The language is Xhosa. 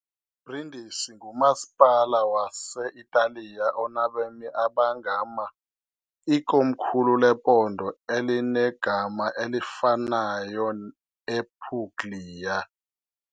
Brindisi ngumasipala wase-Italiya onabemi abangama, ikomkhulu lephondo elinegama elifanayo ePuglia .